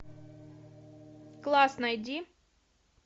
класс найди